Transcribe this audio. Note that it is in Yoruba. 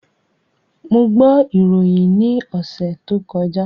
Mo gbọ́ ìròyìn ní ọ̀sẹ̀ tó kọjá